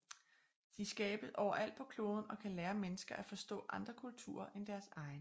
De skabes overalt på kloden og kan lære mennesker at forstå andre kulturer end deres egen